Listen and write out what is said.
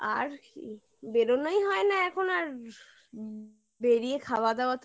আর বেরোনোই হয় না এখন আর বেরিয় খাওয়া দাওয়া